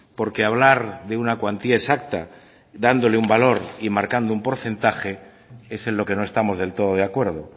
porque hablar de una cuantía exacta dándole un valor y marcando un porcentaje es en lo que no estamos del todo de acuerdo